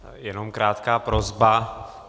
Jenom krátká prosba.